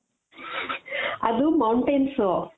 ಅದು mountains